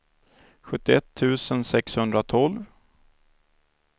sjuttioett tusen sexhundratolv